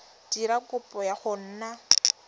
dira kopo ya go nna